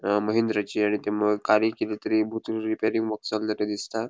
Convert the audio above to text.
अ महिंद्राची आणि म ते कारी किदेतरी भूतून रीपेयरिंग माका चल्ला ते दिसता.